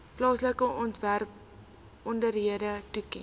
plaaslike owerhede toeken